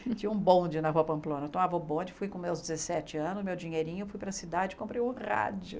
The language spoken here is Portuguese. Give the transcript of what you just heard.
Tinha um bonde na rua Pamplona, eu tomava o bonde, fui com meus dezessete anos, meu dinheirinho, fui para a cidade e comprei o rádio.